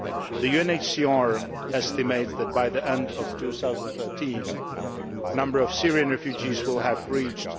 The UNHCR estimates that, by the end of 2013, the number of Syrian refugees will have reached